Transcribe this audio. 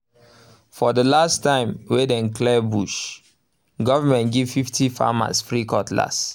for the last time wey wey dem clear bush government give fifty farmers free cutlass